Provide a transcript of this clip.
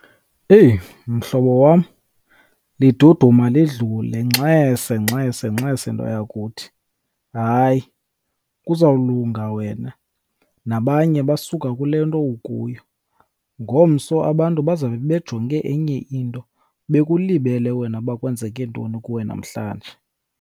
Eyi mhlobo wam, liduduma lidlule. Ngxese, ngxese, ngxese nto yakuthi. Hayi, kuzawulunga wena. Nabanye basuka kule nto ukuyo. Ngomso abantu bazawube bejonge enye into bekulibele wena uba kwenzeke ntoni kuwe namhlanje.